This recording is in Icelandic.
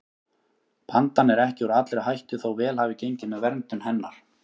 Pandan er ekki úr allri hættu þó vel hafi gengið með verndun hennar.